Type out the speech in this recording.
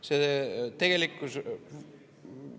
See tegelikkuses …